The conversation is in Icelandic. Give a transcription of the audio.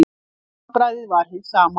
Handbragðið var hið sama.